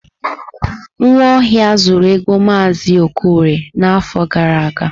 Nwaohia zuru ego Mazi Okorie n'afọ gara aga.